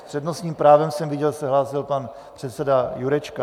S přednostním právem jsem viděl, hlásil se pan předseda Jurečka.